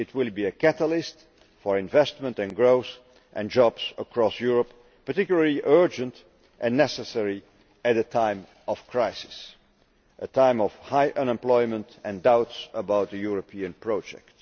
It will be a catalyst for investment and growth and jobs across Europe which is particularly urgent and necessary at a time of crisis, a time of high unemployment and of doubts about the European project.